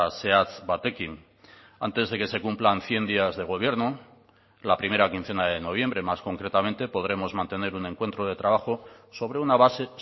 zehatz batekin antes de que se cumplan cien días de gobierno la primera quincena de noviembre más concretamente podremos mantener un encuentro de trabajo sobre una base